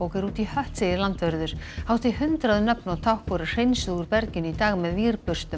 er út í hött segir landvörður hátt í hundrað nöfn og tákn voru hreinsuð úr berginu í dag með